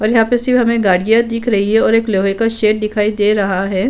और यहाँ पे हमें गाडि़याँ दिख रही हैं और एक लोहे का शेड दिख रहा है।